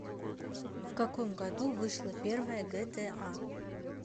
в каком году вышла первая гта